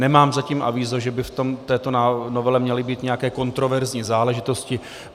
Nemám zatím avízo, že by v této novele měly být nějaké kontroverzní záležitosti.